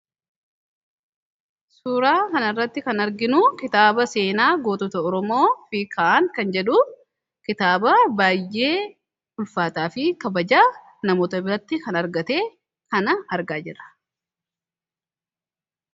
Suuraa kana irratti kan arginu kitaaba seenaa gootota oromoo fi kitaaba baayyee bareeda fi kabaja namoota biratti kan argate kana argaa jira.